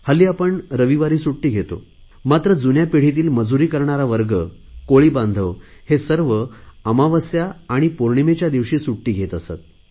हल्ली आपण रविवारी सुट्टी घेतो मात्र जुन्या पिढीतील मजूरी करणारा वर्ग कोळी बांधव हे सर्व अमावस्या आणि पोर्णिमेच्या दिवशी सुट्टी घेत असत